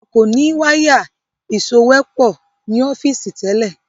a kọ ní Wáyà ìsòwépọ̀ ní ọ́fíìsì tẹlẹ